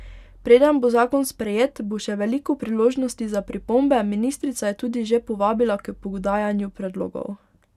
Preden bo zakon sprejet, bo še veliko priložnosti za pripombe, ministrica je tudi že povabila k podajanju predlogov.